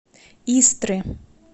истры